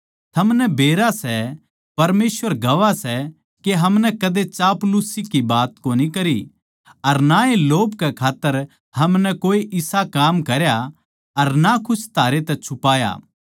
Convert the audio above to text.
थमनै बेरा सै परमेसवर गवाह सै के हमनै कदे चापलूसी की बात कोनी करी अर ना ए लोभ के खात्तर हमनै कोए इसा काम करया अर ना कुछ थारे तै छुपाया